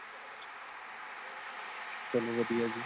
ਚਲੋ ਵਧੀਆਂ ਜੀ |